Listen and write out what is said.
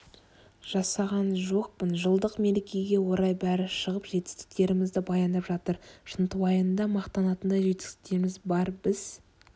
жасаған жоқпын жылдық мерекеге орай бәрі шығып жетістіктерімізді баяндап жатыр шынтуайтында мақтанатындай жетістіктеріміз бар біз